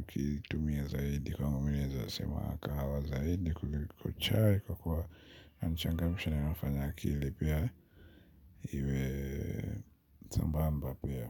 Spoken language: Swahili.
ukitumia zaidi kwangu mi naeza sema kahawa zaidi kuliko chai kwa kuwa inanchangamisha na inafanya akili pia iwe sambamba pia.